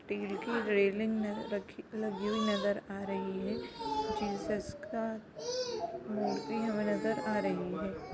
Steel की railing रखी लगी हुई नज़र आ रही है जीसस का मूर्ति हमे नज़र आ रही है।